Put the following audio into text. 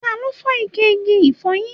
Ta ló fọ ike igi ifoyin?